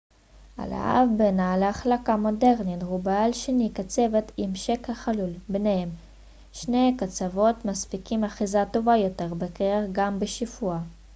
הלהב בנעל החלקה מודרנית הוא בעל שני קצוות עם שקע חלול בניהם שני הקצוות מספקים אחיזה טובה יותר בקרח גם בשיפוע